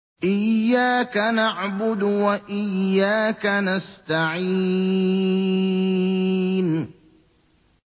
إِيَّاكَ نَعْبُدُ وَإِيَّاكَ نَسْتَعِينُ